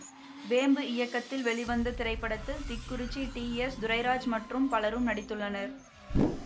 வேம்பு இயக்கத்தில் வெளிவந்த இத்திரைப்படத்தில் திக்குறிச்சி டி எஸ் துரைராஜ் மற்றும் பலரும் நடித்துள்ளனர்